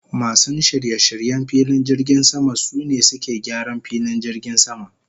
Masun shirye-shiryen filin jirgin sama, sune suke gyaran filin jirgin sama.